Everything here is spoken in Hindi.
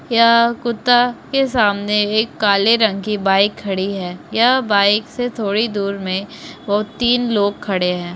यह कुत्ता के सामने एक काले रंग की बाइक खड़ी है यह बाइक से थोडी दूर में वो तीन लोग खड़े है।